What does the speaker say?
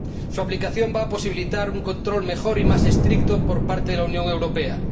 Su aplicación va a posibilitar un control mejor y más estricto por parte de la Unión Europea.